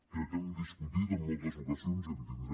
crec que hem discutit en moltes ocasions i en tindrem